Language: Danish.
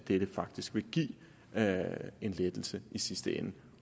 vil det faktisk give en lettelse i sidste ende